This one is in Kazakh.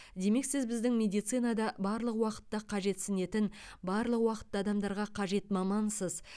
демек сіз біздің медицинада барлық уақытта қажетсінетін барлық уақытта адамдарға қажет мамансыз